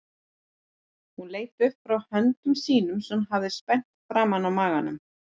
Hún leit upp frá höndum sínum sem hún hafði spenntar framan á maganum.